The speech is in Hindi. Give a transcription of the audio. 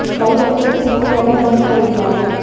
वहीं बच्चों ने स्कूल जाना बंद कर दिया है